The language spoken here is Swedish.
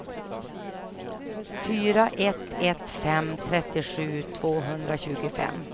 fyra ett ett fem trettiosju tvåhundratjugofem